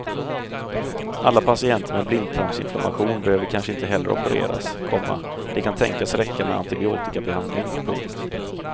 Alla patienter med blindtarmsinflammation behöver kanske inte heller opereras, komma det kan tänkas räcka med antibiotikabehandling. punkt